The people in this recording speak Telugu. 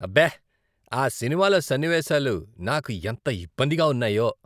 అబ్బే! ఆ సినిమాలో సన్నివేశాలు నాకు ఎంత ఇబ్బందిగా ఉన్నాయో.